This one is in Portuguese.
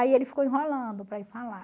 Aí ele ficou enrolando